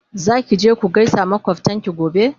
Zaki je ku gaisa makwaftanki gobe?